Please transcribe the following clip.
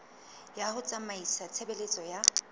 ya ho tsamaisa tshebeletso ya